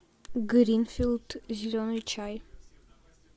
гринфилд зеленый чай